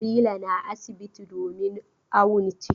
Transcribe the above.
Nabila na asibiti domin awon ciki.